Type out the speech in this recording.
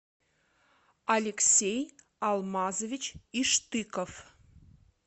алексей алмазович иштыков